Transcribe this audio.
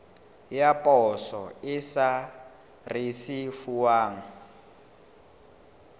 ya poso e sa risefuwang